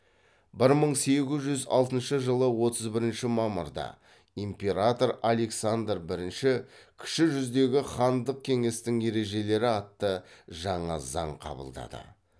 бір мың сегіз жүз алтыншы жылы отыз бірінші мамырда император александр бірінші кіші жүздегі хандық кеңестің ережелері атты жаңа заң қабылдады